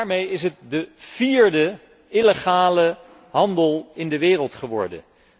Daarmee is het de vierde illegale handel in de wereld geworden.